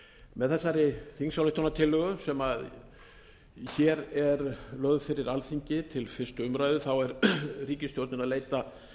með þessari þingsályktunartillögu sem hér er lögð fyrir alþingi til fyrstu umræðu er ríkisstjórnin að leita